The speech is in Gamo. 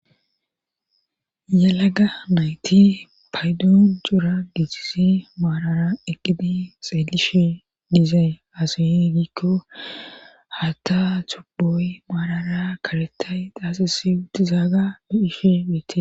Yalaga mayti paydun cuura giichisi maarara eqqidi xeelishi diizay asuye giikko hata tuboy maarara karetay xaasisi utizaaga biish beete.